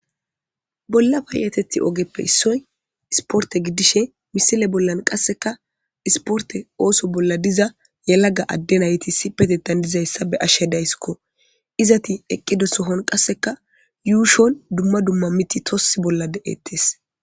Bolla payyeteththi ogeppe issoy isporte gidishin ha misile bollan qassekka isporte ooso bolla diza yelaga adde nayti issippetettan dizayssa be'ashe de'ayssiko. Izeti eqqida sohon qassekka yuushon dumma dumma miththi toke bolla de'ettes.